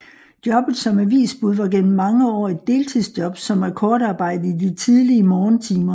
Jobbet som avisbud var gennem mange år et deltidsjob som akkordarbejde i de tidlige morgentimer